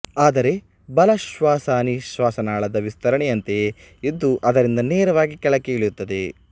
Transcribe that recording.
ಆದರೆ ಬಲಶ್ವಸನಿ ಶ್ವಾಸನಾಳದ ವಿಸ್ತರಣೆಯಂತೆಯೇ ಇದ್ದು ಅದರಿಂದ ನೇರವಾಗಿ ಕೆಳಕ್ಕೆ ಇಳಿಯುತ್ತದೆ